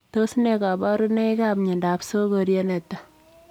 Tos nee kabarunoik ap miondoop sokoriet netai?